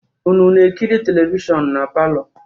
Unu na-ekiri televishọnụ na palọ?